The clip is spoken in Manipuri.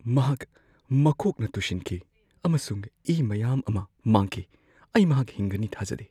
ꯃꯍꯥꯛ ꯃꯀꯣꯛꯅ ꯇꯨꯁꯤꯟꯈꯤ ꯑꯃꯁꯨꯡ ꯏ ꯃꯌꯥꯝ ꯑꯃ ꯃꯥꯡꯈꯤ꯫ ꯑꯩ ꯃꯍꯥꯛ ꯍꯤꯡꯒꯅꯤ ꯊꯥꯖꯗꯦ꯫